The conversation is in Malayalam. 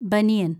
ബനിയന്‍